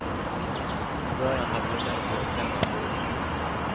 I början hade det mest varit hemmafruar.